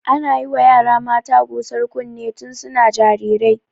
Ana yiwa yara mata gusar kunne tun suna jarirai.